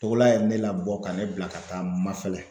Togola ye ne labɔ ka ne bila ka taa Mafɛlɛ.